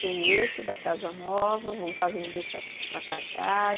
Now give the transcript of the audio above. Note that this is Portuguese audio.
Tem esse, da casa nova, voltar a vender tacacá